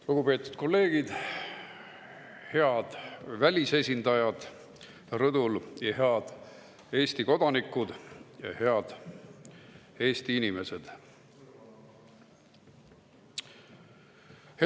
Lugupeetud kolleegid, head välisesindajad rõdul, head Eesti kodanikud ja head Eesti inimesed!